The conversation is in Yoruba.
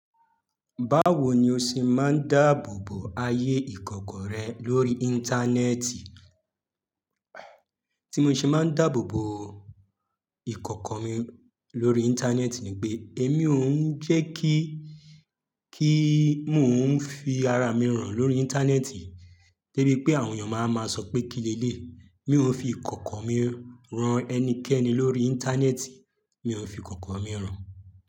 Báwo ni o ṣe máa ń dáàbò bo ayé ìkọ̀kọ̀ rẹ lórí Íńtánẹ́ẹ̀tì? Tí mo ṣe máa ń dáàbò bo ìkọ̀kọ̀ mi lórí Íńtánẹ́ẹ̀tì ni pé èmi ò ń jẹ́ kí, kí mò ń fi ara mi hàn lórí Íńtánẹ́ẹ̀tì, de bí pé àwọn èèyàn máa wa máa sọ pé kíni eléyi. Mi ò ń fi ìkọ̀kọ̀ mi han ẹnikẹ́ni lórí Íńtánẹ́ẹ̀tì, mi ò ń fi ìkọ̀kọ̀ mi hàn.